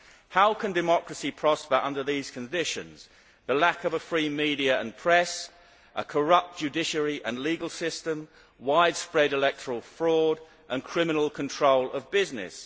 How can democracy prosper under these conditions? There is a lack of a free media and press, a corrupt judiciary and legal system, widespread electoral fraud and criminal control of business.